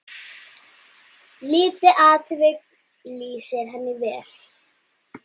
Lítið atvik lýsir henni vel.